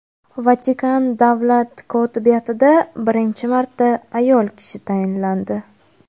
Vatikan davlat kotibiyatida birinchi marta ayol kishi tayinlandi.